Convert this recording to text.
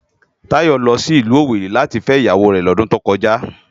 Tayo lò si ilù Owéri láti fè iyáwó rè lòdùn tókòjá